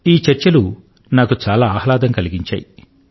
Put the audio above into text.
ఈ చర్చలు నాకు చాలా ఆహ్లాదం కలిగించాయి